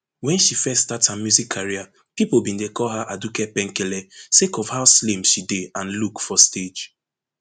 wen she first start her music career pipo bin dey call her aduke penkele sake of how slim she dey and look for stage